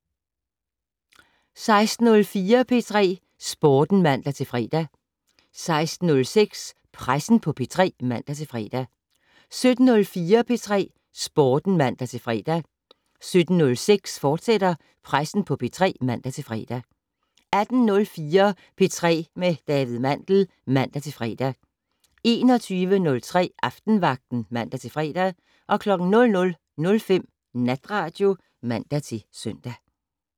16:04: P3 Sporten (man-fre) 16:06: Pressen på P3 (man-fre) 17:04: P3 Sporten (man-fre) 17:06: Pressen på P3, fortsat (man-fre) 18:04: P3 med David Mandel (man-fre) 21:03: Aftenvagten (man-fre) 00:05: Natradio (man-søn)